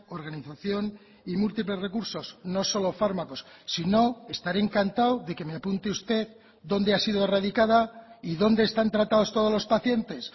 organización y múltiples recursos no solo fármacos sino estaré encantado de que me apunte usted dónde ha sido erradicada y dónde están tratados todos los pacientes